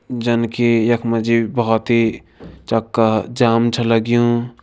जन की यख मा जी बहोत ही चका जाम छ लग्युं।